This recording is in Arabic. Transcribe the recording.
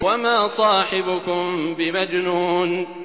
وَمَا صَاحِبُكُم بِمَجْنُونٍ